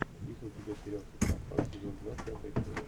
есть ли у тебя сериал социопат сезон два пятая серия